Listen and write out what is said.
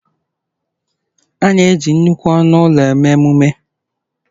A na-eji nnukwu ọnụ ụlọ eme emume